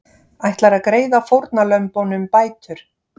Ætlar að greiða fórnarlömbunum bætur